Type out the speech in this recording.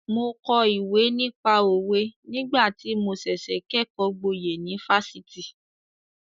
Mo kọ ìwé nípa òwe nígbà tí mo ṣẹ̀ṣẹ̀ kẹ́kọ̀ọ́ gboyè ní Fáṣítì.